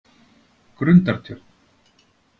Grundartjörn